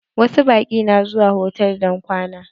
Wasu baƙin na zuwa hotal don kwana.